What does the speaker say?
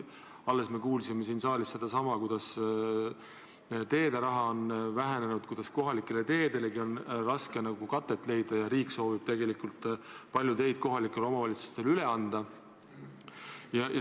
Alles me kuulsime siin saalis, et teederaha on vähenenud, et kohalike teede hoolduseks on raske katet leida ja et riik soovib tegelikult palju teid kohalikele omavalitsustele üle anda.